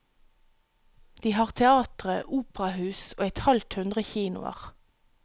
De har teatre, operahus og et halvt hundre kinoer.